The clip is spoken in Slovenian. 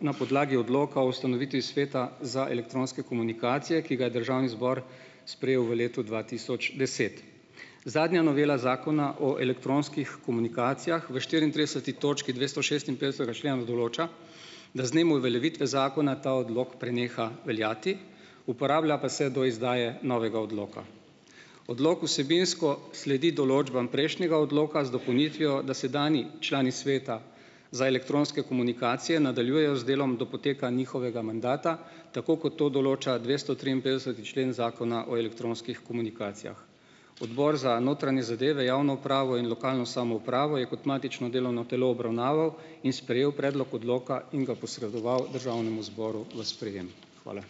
na podlagi odloka o ustanovitvi Sveta za elektronske komunikacije, ki ga je državni zbor sprejel v letu dva tisoč deset. Zadnja novela Zakona o elektronskih komunikacijah v štiriintrideseti točki dvestošestinpetdesetega člena določa, da z dnem uveljavitve zakona, ta odlok preneha veljati, uporablja pa se do izdaje novega odloka. Odlok vsebinsko sledi določbam prejšnjega odloka z dopolnitvijo, da sedanji člani Sveta za elektronske komunikacije nadaljujejo z delom do poteka njihovega mandata, tako kot to določa dvestotriinpetdeseti člen Zakona o elektronskih komunikacijah. Odbor za notranje zadeve, javno upravo in lokalno samoupravo je kot matično delovno telo obravnaval in sprejel predlog odloka in ga posredoval državnemu zboru v sprejem. Hvala.